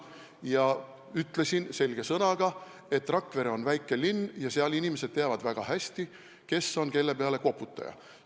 Ma ütlesin selge sõnaga, et Rakvere on väike linn ja seal teavad inimesed väga hästi, kes on kelle peale koputanud.